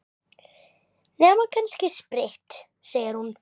Nema kannski spritt, segir hún.